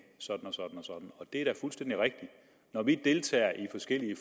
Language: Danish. sådan og sådan og det er da fuldstændig rigtigt når vi deltager i forskellige